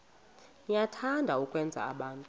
niyathanda ukwenza abantu